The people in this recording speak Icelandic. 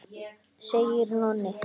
segir Nonni.